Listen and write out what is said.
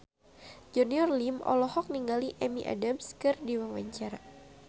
Junior Liem olohok ningali Amy Adams keur diwawancara